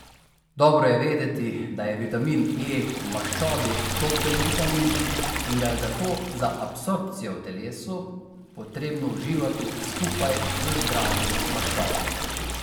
Dobro je vedeti, da je vitamin E v maščobi topen vitamin in ga je zato za absorpcijo v telesu potrebno uživati skupaj z zdravimi maščobami.